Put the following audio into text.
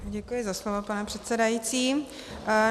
Děkuji za slovo, pane předsedající.